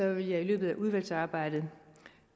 vil jeg i løbet af udvalgsarbejdet